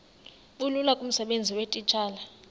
bulula kumsebenzi weetitshala